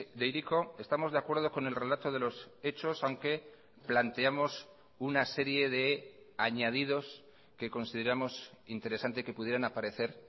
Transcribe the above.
de hiriko estamos de acuerdo con el relato de los hechos aunque planteamos una serie de añadidos que consideramos interesante que pudieran aparecer